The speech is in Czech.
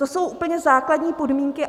To jsou úplně základní podmínky.